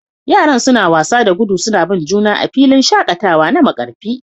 Yaran suna wasa da gudu suna bin juna a filin shakatawa na Markarfi